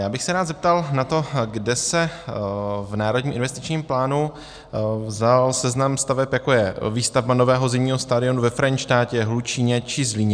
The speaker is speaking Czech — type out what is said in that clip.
Já bych se rád zeptal na to, kde se v Národním investičním plánu vzal seznam staveb, jako je výstavba nového zimního stadionu ve Frenštátě, Hlučíně či Zlíně.